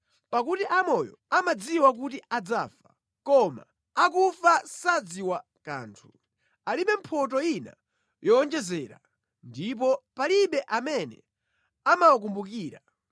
Pakuti amoyo amadziwa kuti adzafa, koma akufa sadziwa kanthu; alibe mphotho ina yowonjezera, ndipo palibe amene amawakumbukira.